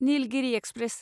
Nilgiri express